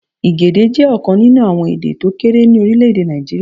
Igede jẹ́ ọ̀kan nínú àwọn èdè tókéré ní Orílèdè Nàìjíríà